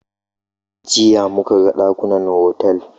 Jiya muka ga ɗakunan otal.